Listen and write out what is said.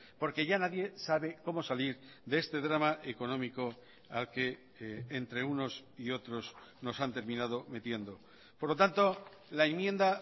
porque ya nadie sabe cómo salir de este drama económico al que entre unos y otros nos han terminado metiendo por lo tanto la enmienda